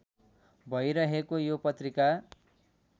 भइरहेको यो पत्रिका